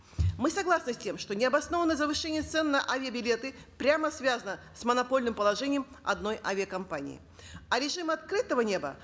мы согласны с тем что необоснованное завышение цен на авиабилеты прямо связано с монопольным положением одной авиакомпании а режим открытого неба